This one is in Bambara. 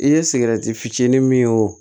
I ye sigɛrɛti fitinin min y'o